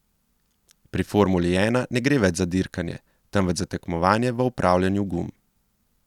Pri formuli ena ne gre več za dirkanje, temveč za tekmovanje v upravljanju gum.